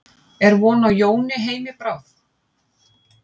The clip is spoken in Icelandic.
En er von á Jóni heim í bráð?